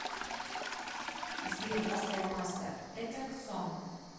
сбер поставь маста этак сон